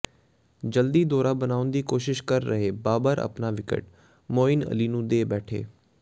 ਜਲਦੀ ਦੌੜਾਂ ਬਣਾਉਣ ਦੀ ਕੋਸ਼ਿਸ਼ ਕਰ ਰਹੇ ਬਾਬਰ ਆਪਣਾ ਵਿਕਟ ਮੋਇਨ ਅਲੀ ਨੂੰ ਦੇ ਬੈਠੇ